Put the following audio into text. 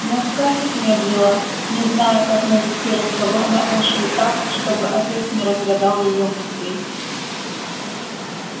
но скарлетт медлила не зная как навести разговор на эшли так чтобы отец не разгадал её мыслей